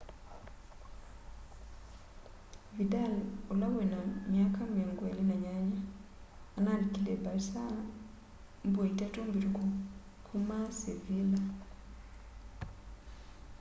vĩdal ũla wĩna myaka 28 analĩkĩle barca mbũa itatũ mbĩtũkũ kũma sevĩlla